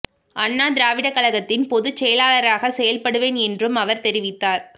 அண்ணா திராவிடர் கழகத்தின் பொது செயலாளராக செயல்படுவேன் என்றும் அவர் தெரிவித்தார்